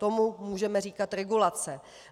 Tomu můžeme říkat regulace.